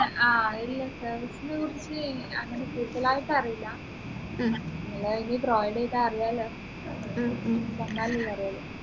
ആഹ് ഇല്ല service നെക്കുറിച്ച് അങ്ങനെ കൂടുതലായിട്ട് അറിയില്ല നിങ്ങളെ ചെയ്ത അറിലാലോ വന്നാൽ അല്ലെ അറിയുള്ളു